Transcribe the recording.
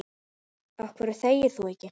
Af hverju þegir þú ekki?